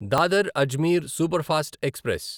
Dadar Ajmer superfast express